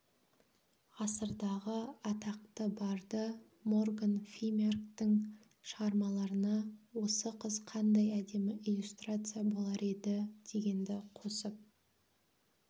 ғасырдағы атақты барды морган фимярктің шығармаларына осы қыз қандай әдемі иллюстрация болар еді дегенді қосып